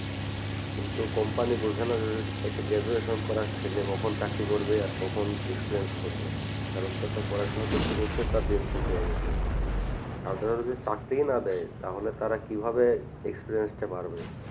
কিন্তু company বোঝেনা যে যে একটা graduation করার ছেলে কখন চাকরি করবে আর কখন experience করবে কারণ তার তো পড়াশুনা করতে করতেই তার দিন শেষ হয়ে গেছে সাধারণদের যদি চাকরিই না দেয় তাহলে তারা কিভাবে experience টা বাড়বে